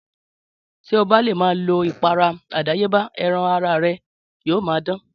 Tí o bá le ma lo ìpara àdáyébá ẹran ara re yíò ma dán